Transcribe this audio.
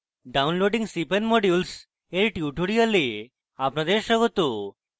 downloading cpan modules এর tutorial আপনাদের স্বাগত